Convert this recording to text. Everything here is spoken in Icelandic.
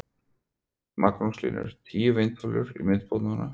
Magnús Hlynur: Tíu vindmyllur í viðbót núna?